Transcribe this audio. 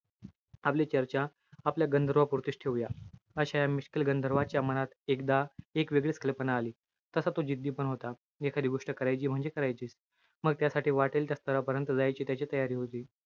आपली चर्चा, आपल्या गंधर्वपूर्तीच ठेवूया. अशा या मिश्किल गंधर्वाच्या मनात, एकदा एक वेगळीच कल्पना आली. तसा तो जिद्दी पण होता. एखादी गोष्ट करायची म्हणजे करायचीच. मग त्यासाठी वाटेल त्या स्थरापर्यंत जायची त्याची तयारी होती.